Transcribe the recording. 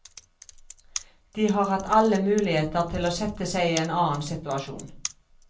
De har hatt alle muligheter til å sette seg i en annen situasjon.